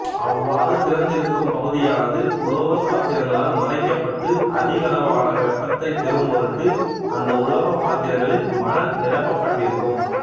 அவ்வாறு திறந்திருக்கும் பகுதியானது உலோகப் பாத்திரங்களால் மறைக்கப்பட்டு அதிகளவான வெப்பத்தைப் பெறும் பொருட்டு அந்த உலோகப் பாத்திரங்களில் மணல் நிரப்பப்பட்டிருக்கும்